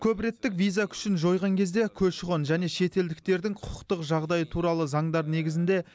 көпреттік виза күшін жойған кезде көші қон және шетелдіктердің құқықтық жағдайы туралы заңдар негізінде